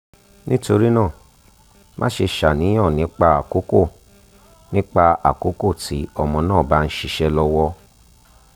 nitorina maṣe ṣàníyàn nipa akoko nipa akoko ti ọmọ naa ba nṣiṣe lọwọ